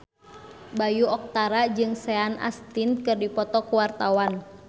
Bayu Octara jeung Sean Astin keur dipoto ku wartawan